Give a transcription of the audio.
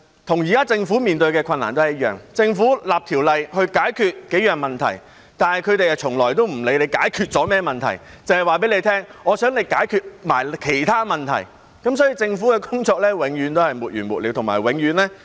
與現時政府面對的困難一樣，政府訂立條例以解決數個問題，但他們從來也不會理會政府解決了甚麼問題，只會告訴政府，他們想一併解決的其他問題，因此政府的工作永遠也是沒完沒了，而且永遠也是被攻擊的對象。